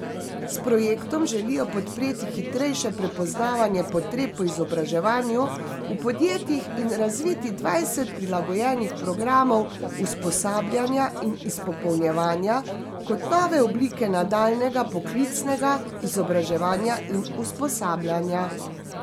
S projektom želijo podpreti hitrejše prepoznavanje potreb po izobraževanju v podjetjih in razviti dvajset prilagojenih programov usposabljanja in izpopolnjevanja, kot nove oblike nadaljnjega poklicnega izobraževanja in usposabljanja.